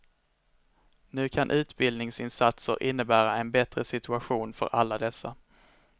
Nu kan utbildningsinsatser innebära en bättre situation för alla dessa.